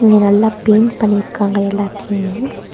இங்க நல்லா பெயிண்ட் பண்ணிருக்காங்க எல்லாத்தையுமே.